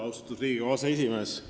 Austatud Riigikogu aseesimees!